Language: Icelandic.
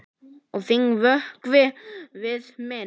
Og þinn vökvi við minn.